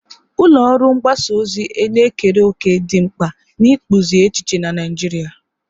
Ulọ ọrụ mgbasa ozi na-ekere òkè dị mkpa n'ịkpụzi echiche na Naijiria.